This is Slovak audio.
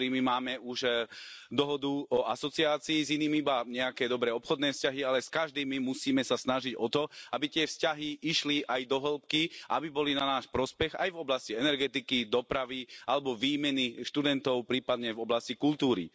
Z niektorými máme už dohodu o asociácii, s inými iba nejaké dobré obchodné vzťahy, ale s každým my musíme sa snažiť o to, aby tie vzťahy išli aj do hĺbky a aby boli v náš prospech aj v oblasti energetiky, dopravy alebo výmeny študentov, prípadne v oblasti kultúry.